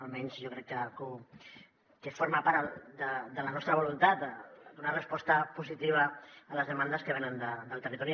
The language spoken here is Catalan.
almenys jo crec que forma part de la nostra voluntat donar resposta positiva a les demandes que venen del territori